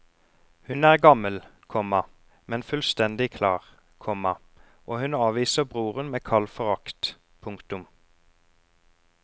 Hun er gammel, komma men fullstendig klar, komma og hun avviser broren med kald forakt. punktum